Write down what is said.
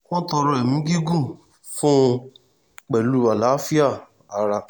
wọ́n tọrọ ẹ̀mí gígùn fún un pẹ̀lú àlàáfíà ara